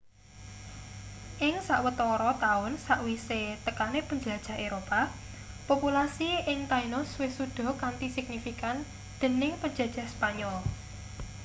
ing sawetara taun sakwise tekane penjelajah eropa populasi ing tainos wis suda kanthi signifikan dening penjajah spanyol